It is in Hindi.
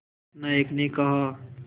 नायक ने कहा